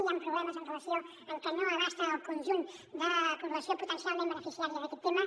hi ha problemes amb relació a que no abasta el conjunt de població potencialment beneficiària d’aquest tema